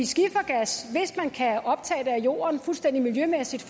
skifergas hvis man kan optage det af jorden fuldstændig miljømæssigt